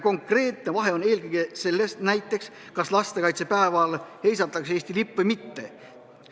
Konkreetne vahe on eelkõige selles näiteks, kas lastekaitsepäeval heisatakse Eesti lipp või mitte.